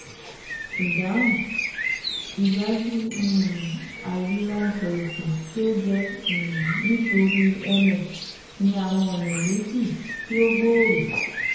Ìdáhùn: Ìdájú um àìlera ẹsẹ̀ òsì tí ó jẹ́ um nítorí MS ní àwọn ọ̀nà méjì tó gbòòrò